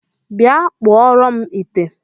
Bịa kpụọrọ m ite!